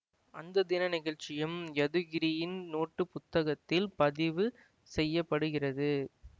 அந்த தின நிகழ்ச்சியும் யதுகிரியின் நோட்டுப் புத்தகத்தில் பதிவு செய்ய படுகிறது